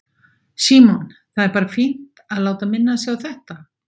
Símon: Það er bara fínt að láta minna sig á þetta?